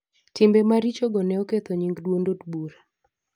Timbe maricho go ne oketho nying' duond od bura.